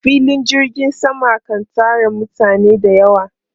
Filin jirgin sama kan tara mutane da yawa.